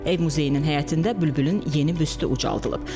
Ev muzeyinin həyətində Bülbülün yeni büstü ucaldılıb.